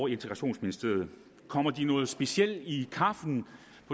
i integrationsministeriet kommer de noget specielt i kaffen